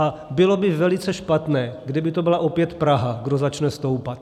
A bylo by velice špatné, kdyby to byla opět Praha, kdo začne stoupat.